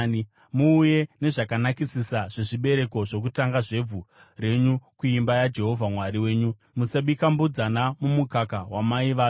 “Muuye nezvakanakisisa zvezvibereko zvokutanga zvevhu renyu kuimba yaJehovha Mwari wenyu. “Musabika mbudzana mumukaka wamai vayo.